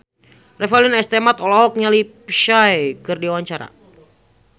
Revalina S. Temat olohok ningali Psy keur diwawancara